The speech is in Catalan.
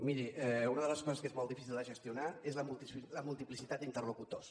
miri una de les coses que és molt difícil de gestionar és la multiplicitat d’interlocutors